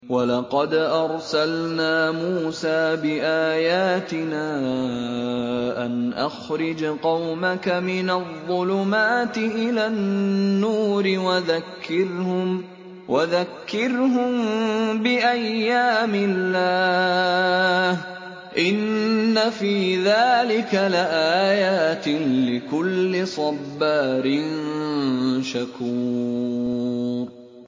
وَلَقَدْ أَرْسَلْنَا مُوسَىٰ بِآيَاتِنَا أَنْ أَخْرِجْ قَوْمَكَ مِنَ الظُّلُمَاتِ إِلَى النُّورِ وَذَكِّرْهُم بِأَيَّامِ اللَّهِ ۚ إِنَّ فِي ذَٰلِكَ لَآيَاتٍ لِّكُلِّ صَبَّارٍ شَكُورٍ